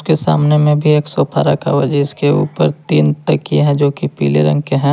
के सामने में भी एक सोफा रखा हुआ है जिसके ऊपर तीन तकिया है जोकी पीले रंग के हैं।